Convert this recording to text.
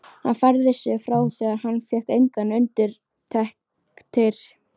Hann færði sig frá þegar hann fékk engar undirtektir.